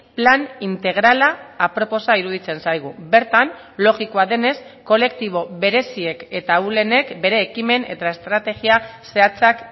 plan integrala aproposa iruditzen zaigu bertan logikoa denez kolektibo bereziek eta ahulenek bere ekimen eta estrategia zehatzak